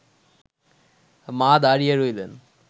মা দাঁড়িয়ে রইলেন